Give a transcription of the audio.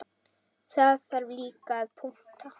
Það þarf líka að punta.